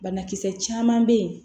Banakisɛ caman bɛ yen